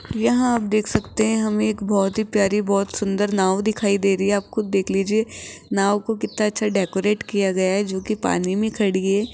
यहां आप देख सकते हैं हम एक बहोत ही प्यारी बहोत सुंदर नाव दिखाई दे रही आप खुद देख लीजिए नाव को कितना अच्छा डेकोरेट किया गया जो की पानी में खड़ी है।